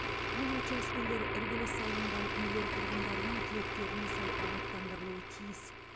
бұл учаскелер іргелес салынған үйлер тұрғындарының тілектеріне сай абаттандырылуы тиіс